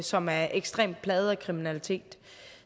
som er ekstremt plaget af kriminalitet